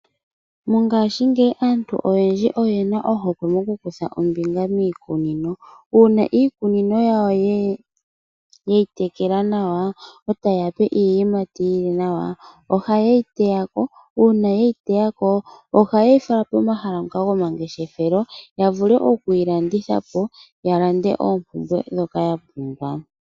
Mongashingeyi aantu oyendji oyena ohokwe yokukutha ombinga miikunino uuna iikunino yawo yeyi tekela nawa ee taye yape iiyimati yili nawa ohaye yiteyako uuna yeyi teyako ohaye yi fala pomahala gomangefeshelo yavule okuyilandithapo yalande oompumbwe dhoka yapumbwa.